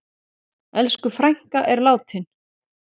Elsku frænka er látin.